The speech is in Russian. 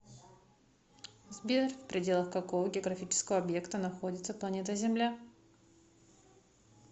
сбер в пределах какого географического объекта находится планета земля